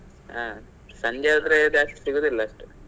ಹಾ ಸಂಜೆ ಹೋದ್ರೆ ಜಾಸ್ತಿ ಸಿಗುದಿಲ್ಲ ಅಷ್ಟು.